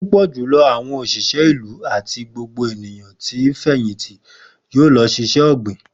Pupọ julọ awọn oṣiṣẹ ilu ati ti gbogbo eniyan ti fẹyìntì yoo lọ si iṣẹ-ogbin.